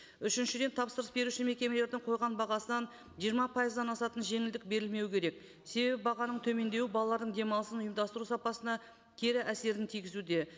үшіншіден тапсырыс беруші мекемелердің қойған бағасынан жиырма пайыздан асатын жеңілдік берілмеуі керек себебі бағаның төмендеуі балалардың демалысын ұйымдастыру сапасына кері әсерін тигізуде